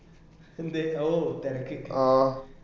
എന്തേ ഓ തെരക്ക്